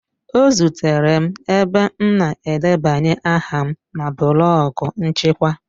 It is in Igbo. Ọ zutere m ebe m na-edebanye aha m na blọk nchịkwa